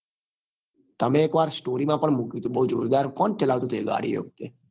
તમે એક વાર story માં પણ મુક્યું હતું બઉ જોરદાર કોણ ચલાવતું હતું એ ગાડી એ વખતે